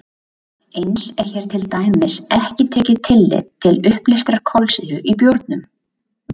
Eins er hér til dæmis ekki tekið tillit til uppleystrar kolsýru í bjórnum.